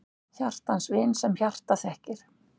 Hjartans vin, sem hjartað þekkir!